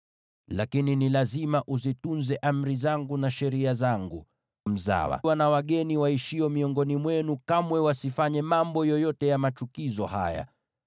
Lakini ni lazima uzitunze amri zangu na sheria zangu. Mzawa na wageni waishio miongoni mwenu kamwe wasifanye mambo yoyote ya machukizo haya,